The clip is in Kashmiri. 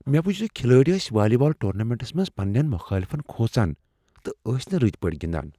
مےٚ وچھ زِ کھلٲڑۍ ٲسۍ والی بال ٹورنامنٹس منٛز پننین مخٲلفن کھوژان تہٕ ٲسۍ نہٕ رٕتۍ پٲٹھۍ گنٛدان۔